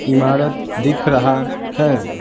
इमारत दिख रहा है।